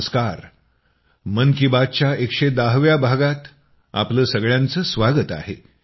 नमस्कार मन की बात च्या 110 व्या भागात आपलं सगळ्यांचं स्वागत आहे